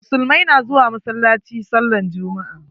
Musulumai na zuwa masallaci sallan jummu'a.